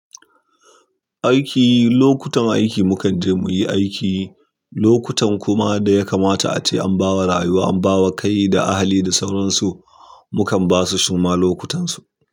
Aiki, lokutan aiki mukan je muyi aiki, lokutan kuma da ya kamata ace an bawa rayuwa, an bawa kai da ahali da sauransu, mukan ba su suma lokutansu.